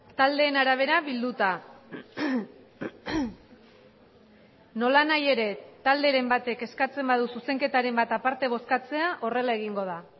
taldeen arabera bilduta nolanahi ere talderen batek eskatzen badu zuzenketaren bat aparte bozkatzea horrela egingo da